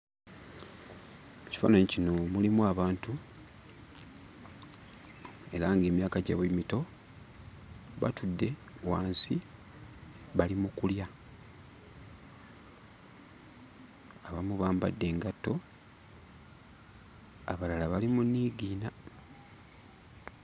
Mu kifaananyi kino mulimu abantu era ng'emyaka gyabwe mito. Batudde wansi bali mu kulya. Abamu bambadde engatto, abalala bali mu nniigiina.